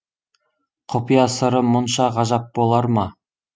құпия сыры мұнша ғажап болар ма